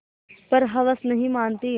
पर हवस नहीं मानती